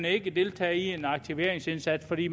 ikke deltage i en aktiveringsindsats for de